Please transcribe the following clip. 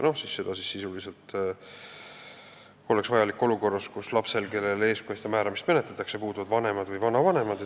Seda oleks vaja olukorras, kus lapsel, kellele eestkostja määramist menetletakse, puuduvad vanemad või vanavanemad.